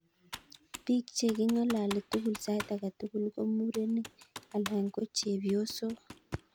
Pig chegi ngalali tugul saiti age tugul ko murenig alan ko chepyosog